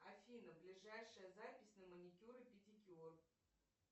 афина ближайшая запись на маникюр и педикюр